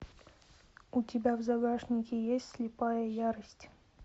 у тебя в загашнике есть слепая ярость